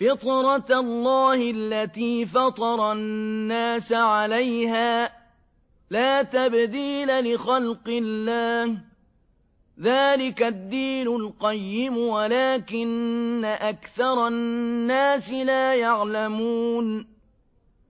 فِطْرَتَ اللَّهِ الَّتِي فَطَرَ النَّاسَ عَلَيْهَا ۚ لَا تَبْدِيلَ لِخَلْقِ اللَّهِ ۚ ذَٰلِكَ الدِّينُ الْقَيِّمُ وَلَٰكِنَّ أَكْثَرَ النَّاسِ لَا يَعْلَمُونَ